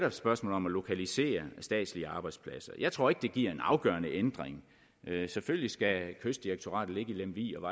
et spørgsmål om at lokalisere statslige arbejdspladser jeg tror ikke det giver en afgørende ændring selvfølgelig skal kystdirektoratet ligge i lemvig og